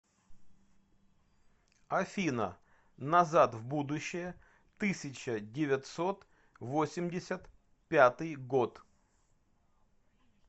афина назад в будущее тысяча девятьсот восемьдесят пятый год